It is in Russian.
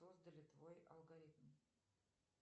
создали твой алгоритм